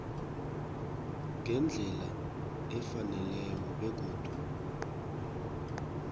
ngendlela efaneleko begodu